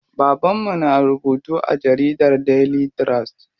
Baban mu na rubutu a jaridar Daily trust.